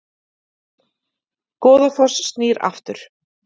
Goðafoss snýr aftur